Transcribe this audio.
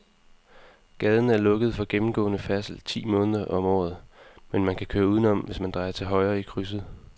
Gaden er lukket for gennemgående færdsel ti måneder om året, men man kan køre udenom, hvis man drejer til højre i krydset.